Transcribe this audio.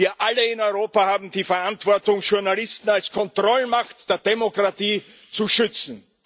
Wir alle in Europa haben die Verantwortung, Journalisten als Kontrollmacht der Demokratie zu schützen.